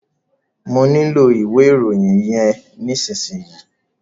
Mọ nílò ìwé ìròyìn yẹn nísìsiyìí.